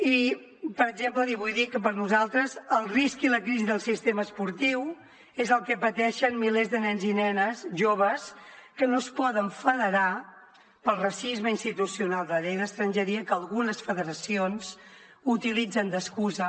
i per exemple li vull dir que per a nosaltres el risc i la crisi del sistema esportiu és el que pateixen milers de nens i nenes joves que no es poden federar pel racisme institucional de la llei d’estrangeria que algunes federacions utilitzen d’excusa